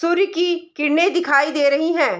सूर्य की किरणे दिखाई दे रही है।